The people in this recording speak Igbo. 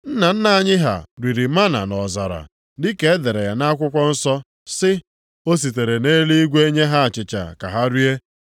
Nna nna anyị ha riri mánà nʼọzara; dị ka e dere ya nʼakwụkwọ nsọ sị, ‘O sitere nʼeluigwe nye ha achịcha ka ha rie.’ + 6:31 \+xt Ọpụ 16:4; Neh 9:15; Abụ 78:24,25\+xt*”